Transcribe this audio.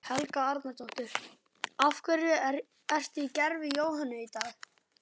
Helga Arnardóttir: Af hverju ertu í gervi Jóhönnu í dag?